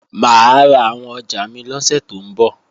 Mà á ra àwọn ọjà mi lọ́sẹ̀ tó ń bọ̀